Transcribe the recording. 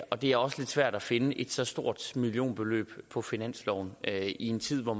og det er også lidt svært at finde et så stort millionbeløb på finansloven i en tid hvor